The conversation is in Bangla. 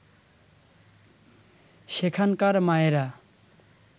সেখানকার মায়েরা